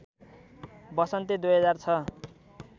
वसन्ती २००६